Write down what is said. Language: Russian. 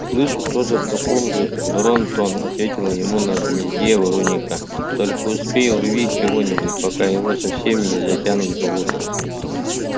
слышу тоже в таком же дрон-тон ответила ему на гнезде ворониха только успей урви чего-нибудь пока его совсем не затянуло болото